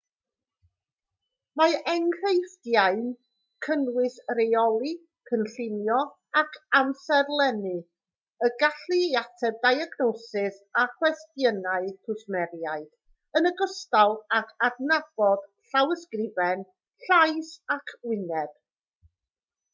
mae enghreifftiau'n cynnwys rheoli cynllunio ac amserlennu y gallu i ateb diagnosis a chwestiynau cwsmeriaid yn ogystal ag adnabod llawysgrifen llais ac wyneb